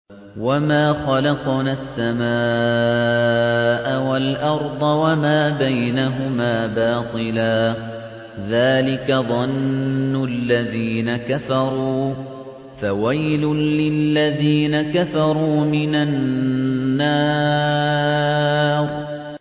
وَمَا خَلَقْنَا السَّمَاءَ وَالْأَرْضَ وَمَا بَيْنَهُمَا بَاطِلًا ۚ ذَٰلِكَ ظَنُّ الَّذِينَ كَفَرُوا ۚ فَوَيْلٌ لِّلَّذِينَ كَفَرُوا مِنَ النَّارِ